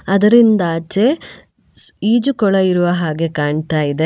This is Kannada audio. ಅದರಿಂದ ಆಚೆ ಈಜುಕೊಳ ಇರುವ ಹಾಗೆ ಕಾಣ್ತಾ ಇದೆ.